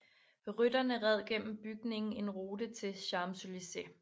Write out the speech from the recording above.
Rytterne red gennem bygningen en route til Champs Élysées